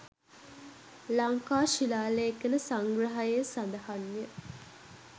ලංකා ශිලාලේඛන සංග්‍රහයේ සඳහන් ය.